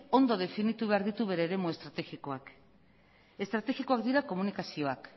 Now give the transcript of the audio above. ondo definitu behar ditu bere eremu estrategikoak estrategikoak dira komunikazioak